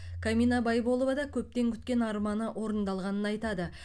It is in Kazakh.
камина байболова да көптен күткен арманы орындалғанын айтады